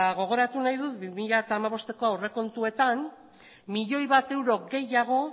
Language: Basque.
gogoratu nahi dut bi mila hamabosteko aurrekontuetan bat milioi euro gehiago